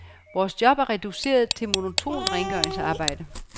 Vores job er reduceret til monotont rengøringsarbejde.